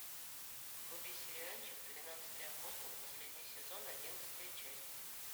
вруби сериальчик тринадцатый апостол последний сезон одиннадцатая часть